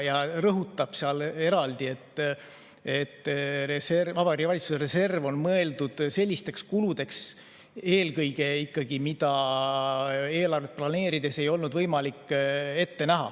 Riigikontroll rõhutab eraldi, et Vabariigi Valitsuse reserv on mõeldud eelkõige ikkagi sellisteks kuludeks, mida eelarvet planeerides ei olnud võimalik ette näha.